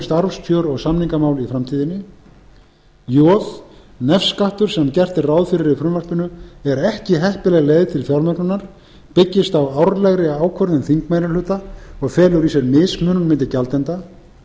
starfskjör og samningamál í framtíðinni j nefskattur sem gert er ráð fyrir í frumvarpinu er ekki heppileg leið til fjármögnunar byggist á árlegri ákvörðun þingmeirihluta og felur í sér mismunun milli gjaldenda